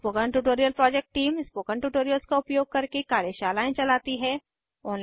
spoken tutorial project team spoken tutorials का उपयोग करके कार्यशालाएं चलाती है